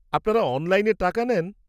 -আপনারা অনলাইনে টাকা নেন?